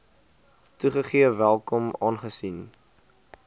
toegegee welkom aangesien